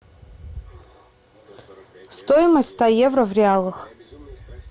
стоимость ста евро в реалах